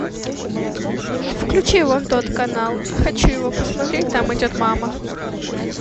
включи вон тот канал хочу его посмотреть там идет мама